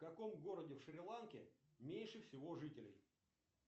в каком городе в шри ланке меньше всего жителей